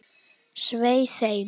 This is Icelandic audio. Svei þeim!